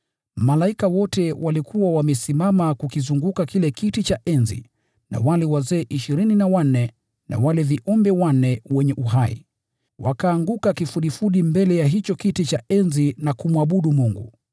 Malaika wote walikuwa wamesimama kukizunguka kile kiti cha enzi na wale wazee ishirini na wanne na wale viumbe wanne wenye uhai. Wakaanguka kifudifudi mbele ya hicho kiti cha enzi na kumwabudu Mungu,